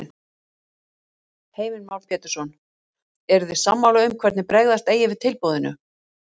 Heimir Már Pétursson: Eruð þið sammála um hvernig bregðast eigi við tilboðinu?